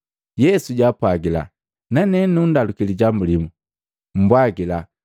Yesu jaapwagila, “Nane nanndaluki lijambu limu, mmbwajila,